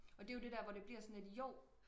og det er jo det der hvor det bliver sådan lidt jo